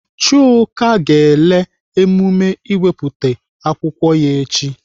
Chuka ga-ele emume ịwepụta akwụkwọ ya echi.